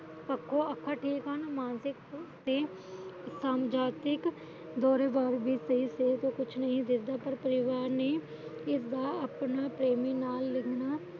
ਅੱਖਾ ਠੀਕ ਹਨ ਮਾਨਸਿਕ ਦੋਰੇ ਕੁਛ ਨਹੀਂ ਦਿਸਦਾ ਪਰ ਪਰਿਵਾਰ ਨੇ ਇਸ ਦਾ ਆਪਣਾ